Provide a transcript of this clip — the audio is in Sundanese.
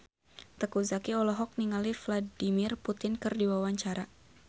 Teuku Zacky olohok ningali Vladimir Putin keur diwawancara